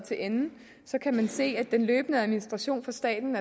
til ende kan man se at den løbende administration for staten